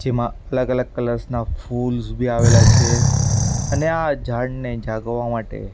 જેમાં અલગ-અલગ કલર્સ ના ફૂલ્સ ભી આવેલા છે અને આ ઝાડને જાગવા માટે --